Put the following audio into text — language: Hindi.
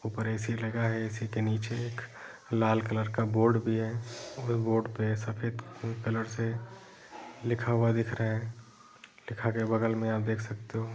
ऊपर ऐ.सी. लगा है| ऐ.सी. के नीचे एक लाल कलर का बोर्ड भी है व बोर्ड पे सफेद कलर से लिखा हुआ दिख रहा है लिखा के बगल में आप देख सकते हो |